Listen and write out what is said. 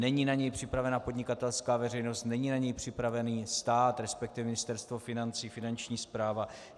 Není na něj připravena podnikatelská veřejnost, není na něj připravený stát, respektive Ministerstvo financí, Finanční správa.